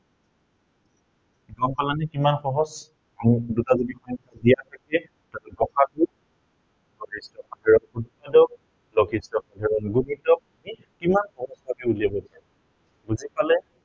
গম পালানে কিমান সহজ। আমি এই দুটা প্ৰক্ৰিয়াৰে গ সাগু, গৰিষ্ঠ সাধাৰণ গুণিতক, লঘিষ্ঠ সাধাৰণ গুণিতক আমি কিমান সহজতে উলিয়াব পাৰো। বুজি পালে